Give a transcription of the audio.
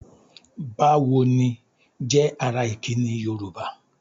"Bá wo ni?" jẹ́ ara ìkíni Yorùbá.